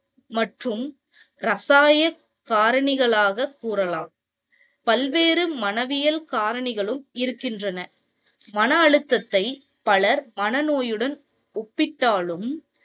மற்றும் இரசாயான காரணிகளாக கூறலாம். பல்வேறு மனவியல் காரணிகளும் இருக்கின்றன. மன அழுத்தத்தை பலர் மன நோயுடன் ஒப்பிட்டாலும்